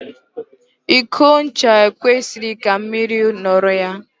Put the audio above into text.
Iko ncha e kwesịghị ka mmiri nọrọ ya.